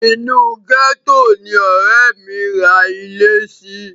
Inú gẹ́tò ni ọ̀rẹ́ mi ra ilẹ̀ sí.